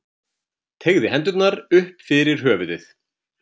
Teygði hendurnar upp fyrir höfuðið.